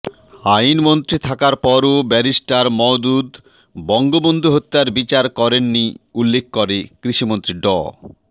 আইনমন্ত্রী থাকার পরও ব্যারিস্টার মওদুদ বঙ্গবন্ধু হত্যার বিচার করেননি উল্লেখ করে কৃষিমন্ত্রী ড